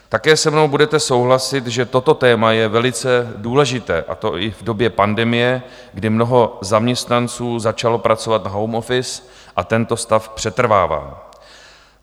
Také se mnou budete souhlasit, že toto téma je velice důležité, a to i v době pandemie, kdy mnoho zaměstnanců začalo pracovat na home office, a tento stav přetrvává.